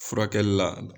Furakɛli la